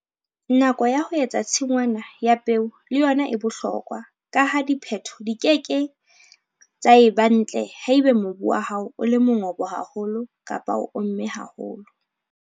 Nako ya ho etsa tshingwana ya peo le yona e bohlokwa ka ha dipheto di ke ke tsa eba ntle haeba mobu wa hao o le mongobo haholo kapa o omme haholo.